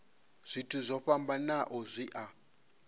zwithu zwo fhambanaho zwi a